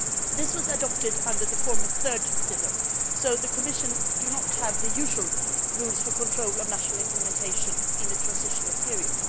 This was adopted under the former third pillar, so the Commission does not have the usual rules for monitoring national implementation in a transitional period.